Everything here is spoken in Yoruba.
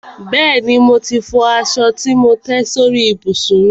Bẹ́ẹ̀ni, mo ti fọ aṣọ tí mò ń tẹ́ sórí ìbùsùn mi.